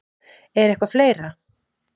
Er eitthvað fleira?